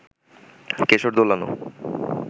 কেশর-দোলানো